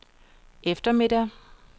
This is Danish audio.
eftermiddag